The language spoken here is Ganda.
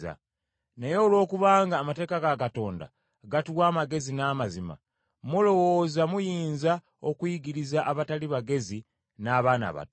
Naye olwokubanga, amateeka ga Katonda gatuwa amagezi n’amazima, mulowooza muyinza okuyigiriza abatali bagezi n’abaana abato.